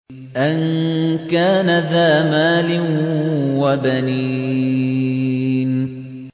أَن كَانَ ذَا مَالٍ وَبَنِينَ